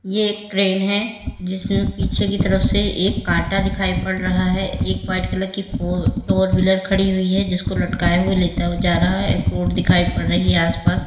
ये एक क्रेन है जिसमें पीछे की तरफ से एक कांटा दिखाई पड़ रहा है एक वाइट कलर की फोर व्हीलर खड़ी हुई है जिसको लटकाया हुआ लेता हुआ जा रहा है एक रोड दिखाई पड़ रही है आस पास।